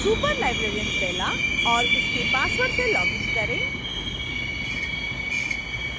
superlibrarian bella और उसके password से login करें